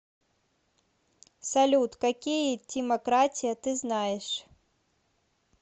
салют какие тимократия ты знаешь